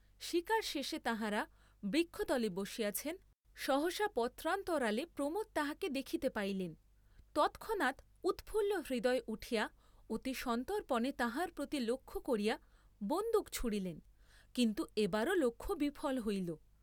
শীকার শেষে তাঁহারা বৃক্ষতলে বসিয়াছেন, সহসা পত্রান্তরালে প্রমোদ তাহাকে দেখিতে পাইলেন, তৎক্ষণাৎ উৎফুল্ল হৃদয়ে উঠিয়া অতি সন্তর্পণে তাহার প্রতি লক্ষ্য করিয়া বন্দুক ছুঁড়িলেন কিন্তু এবারও লক্ষ্য বিফল হইল।